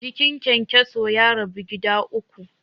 Jikin kyankyaso ya rabu gida uku.